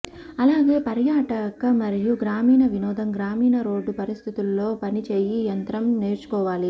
అలాగే పర్యాటక మరియు గ్రామీణ వినోదం గ్రామీణ రోడ్లు పరిస్థితుల్లో పని ఈ యంత్రం నేర్చుకోవాలి